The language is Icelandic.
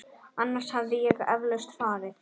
Annars hefði ég eflaust farið.